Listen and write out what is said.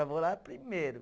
Já vou lá primeiro.